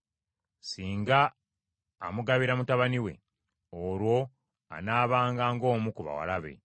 Singa amugabira mutabani we, olwo anaabanga ng’omu ku bawala be.